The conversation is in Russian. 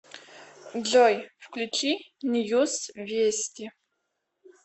джой включи ньюс вести